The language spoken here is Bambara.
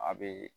A be